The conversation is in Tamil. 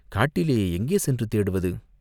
காட்டிலே எங்கே என்று தேடுவது?